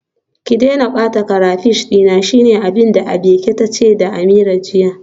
Ki daina bata crayfish dina, shine abinda Abike tace da Ameerah jiya.